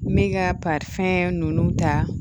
N bɛ ka ninnu ta